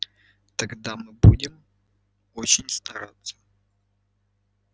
тогда мы будем очень стараться